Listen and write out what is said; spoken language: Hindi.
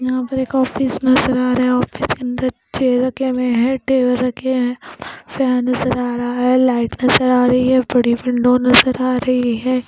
यहाँ पर एक ऑफिस नज़र आ रहा है ऑफिस के अंदर चेयर रखे हुए हैं टेबल रखे हैं फैन नज़र आ रहा है लाइट नज़र आ रही है बड़ी विंडो नज़र आ रही है।